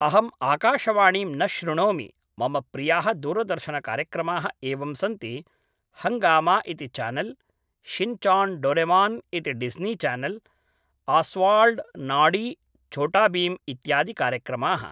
अहम् आकाशवाणीं न शृणोमि मम प्रियाः दूरदर्शनकार्यक्रमाः एवं सन्ति हङ्गामा इति चानल् षिन् चान् डोरेमान् इति Disney channel Oswald Noddy Chhota Bheem इत्यादिकार्यक्रमाः